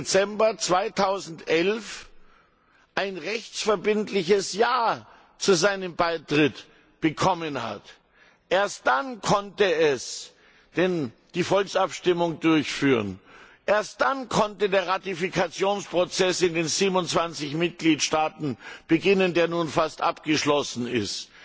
1. Dezember 2011 ein rechtsverbindliches Ja zu seinem Beitritt bekommen hat. Erst dann konnte es die Volksabstimmung durchführen, erst dann konnte der Ratifikationsprozess in den 27 Mitgliedstaaten beginnen, der nun fast abgeschlossen ist,